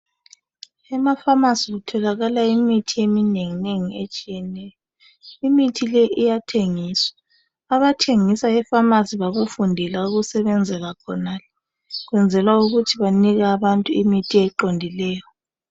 Emapharmacy kutholakala imithi eminenginengi etshiyeneyo. Imithi le iyathengiswa. Abathengisa epharmacy bakufundela ukusebenzela khonale . Kwenzelwa ukuthi banike abantu imithi eqondileyo.